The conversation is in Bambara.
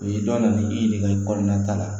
O ye dɔn nali i yɛrɛ ka i kɔnɔna ta la